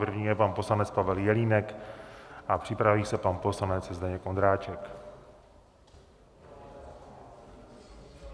První je pan poslanec Pavel Jelínek a připraví se pan poslanec Zdeněk Ondráček.